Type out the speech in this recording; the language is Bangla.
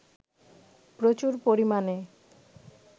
প্রচুর পরিমাণে